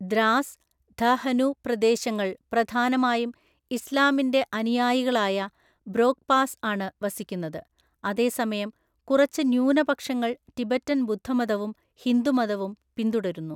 ദ്രാസ്, ധ ഹനു പ്രദേശങ്ങൾ പ്രധാനമായും ഇസ്ലാമിന്റെ അനുയായികളായ ബ്രോക്ക്പാസ് ആണ് വസിക്കുന്നത്, അതേസമയം കുറച്ചു ന്യൂനപക്ഷങ്ങൾ ടിബറ്റൻ ബുദ്ധമതവും ഹിന്ദുമതവും പിന്തുടരുന്നു.